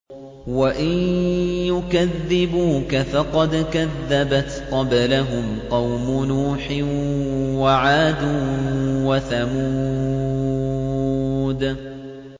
وَإِن يُكَذِّبُوكَ فَقَدْ كَذَّبَتْ قَبْلَهُمْ قَوْمُ نُوحٍ وَعَادٌ وَثَمُودُ